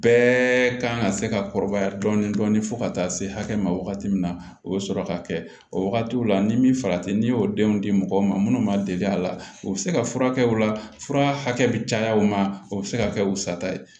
Bɛɛ kan ka se ka kɔrɔbaya dɔɔnin dɔɔnin fo ka taa se hakɛ ma wagati min na o bɛ sɔrɔ ka kɛ o wagatiw la ni min farati n'i y'o denw di mɔgɔ ma minnu ma deli a la u bɛ se ka furakɛ o la fura hakɛ bɛ caya o ma o bɛ se ka kɛ u sata ye